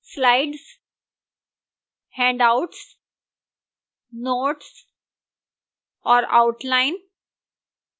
slides handouts notes और outline